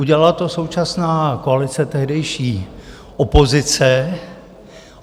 Udělala to současná koalice, tehdejší opozice.